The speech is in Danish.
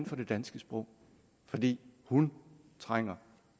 for det danske sprog fordi hun trænger